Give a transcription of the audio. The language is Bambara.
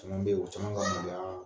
Caman be ye, u caman ka bonyaa